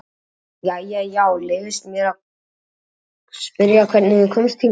Jæja já, og leyfist mér að spyrja hvernig þú komst hingað?